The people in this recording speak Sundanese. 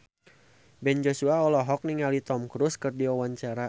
Ben Joshua olohok ningali Tom Cruise keur diwawancara